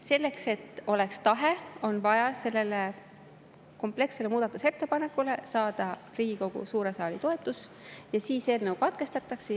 Selleks et oleks tahe, on vaja sellele komplekssele muudatusettepanekule saada Riigikogu suure saali toetus ja siis eelnõu katkestatakse.